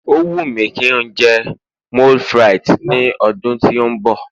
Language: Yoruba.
o wu mi ki njé moule frites ní ọdún tí o nbọ